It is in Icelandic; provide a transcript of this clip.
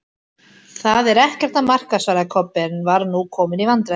Það er ekkert að marka, svaraði Kobbi, en var nú kominn í vandræði.